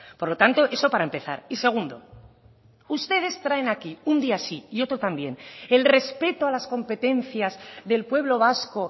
por lo tanto eso para empezar y segundo ustedes traen aquí un día sí y otro también el respeto a las competencias del pueblo vasco